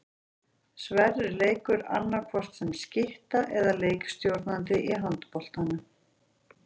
Sverrir leikur annaðhvort sem skytta eða leikstjórnandi í handboltanum.